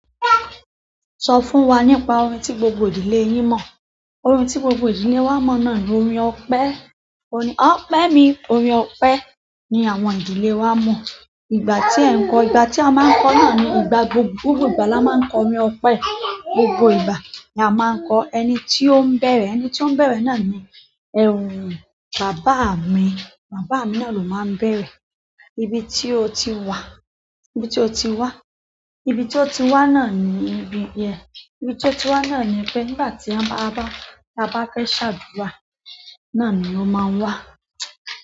Sọ fún wa nípa ohun tí gbogbo ìdílé yín mọ̀. Ohun tí gbogbo ìdílé wa mọ̀ náà ni orin Ope. Ope mi, orin Ope ni àwọn ìdílé wa mọ̀. Ìgbà tí a ń kọ, ìgbà tí a máa ń kọ náà ni ìgbà gbogbo. Gbogbo ìgbà la máa ń kọ orin Ope. Gbogbo ìgbà ni a máa ń kọ. Ẹni tí ó ń bẹ̀rẹ̀, ẹni tí ó ń bẹ̀rẹ̀ náà ni ẹ hún. Bàbá mi, bàbá mi náà ló máa ń bẹ̀rẹ̀. Ibi tí ó ti wà, ibi tí ó ti wá, ibi tí ó ti wá náà ni ibi yẹn. Ibi tí ó ti wá náà ni pé nígbà tí a bá fẹ́ ṣàdúrà, náà ni ó máa wà.